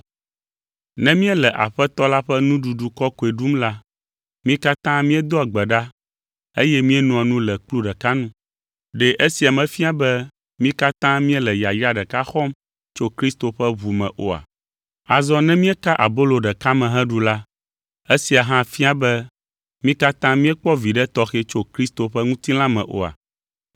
Ne míele Aƒetɔ la ƒe Nuɖuɖu Kɔkɔe ɖum la, mí katã míedoa gbe ɖa eye míenoa nu le kplu ɖeka nu. Ɖe esia mefia be mí katã míele yayra ɖeka xɔm tso Kristo ƒe ʋu me oa? Azɔ ne míeka abolo ɖeka me heɖu la, esia hã fia be mí katã míekpɔ viɖe tɔxɛ tso Kristo ƒe ŋutilã me oa?